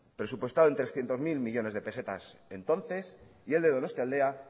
presupuestado en trescientos mil millónes de pesetas entonces y el de donostialdea